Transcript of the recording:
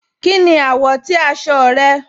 Kíni awọ̀ ti aṣọ rẹ̀?